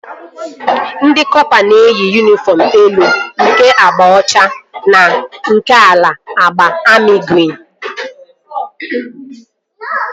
Ndị kọpa na-eyi yunifọm elu nke agba ọcha na nke ala agba amị grin